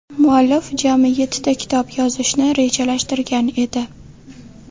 Muallif jami yettita kitob yozishni rejalashtirgan edi.